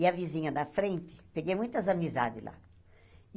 E a vizinha da frente... Peguei muitas amizades lá.